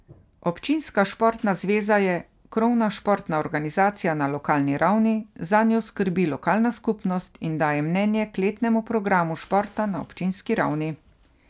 Občinska športna zveza je krovna športna organizacija na lokalni ravni, zanjo skrbi lokalna skupnost, in daje mnenje k letnemu programu športa na občinski ravni.